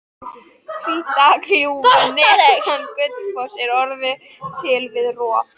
Hvítárgljúfur neðan Gullfoss er orðið til við rof